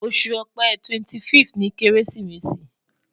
Oṣu Ọ̀pẹ 25th ni keresimesi